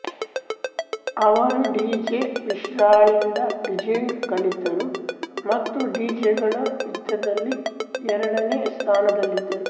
ಅವರು ಡಿಜೆ ವಿಶಾಲ್ರಿಂದ ಡಿಜೆಂಗ್ ಕಲಿತರು ಮತ್ತು ಡಿಜೆಗಳ ಯುದ್ಧ ದಲ್ಲಿ ಎರಡನೇ ಸ್ಥಾನದಲ್ಲಿದ್ದರು